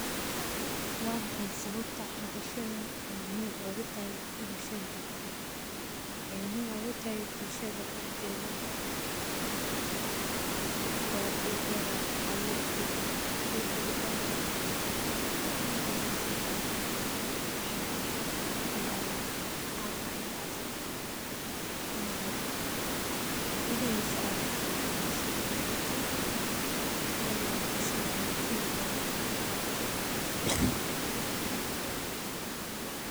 Waa maxay sababta hawshani muhiim ugu tahay bulshada dhexdeeda daxdedha, wexee muhiim ogutahay bulshaada daxdedha, horta igi horee abur geed athiga aburate, aad ilashate, aad ka taxadarte, hadana aad in tifacsate, ama aad mirihisa dadamise, aad ayey bulshaadana muhiim ogu tahay.